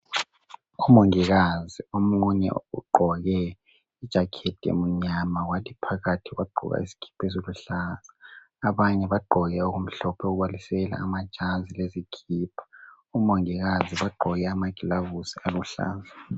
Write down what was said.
Umongikazi omunye ugqoke I jacket emnyama wathi phakathi wagqoka isikipa esiluhlaza. Abanye bagqoke okumhlophe okubalisela amajazi lezikipa. Omongikazi bagqoke amaglavusi aluhlaza.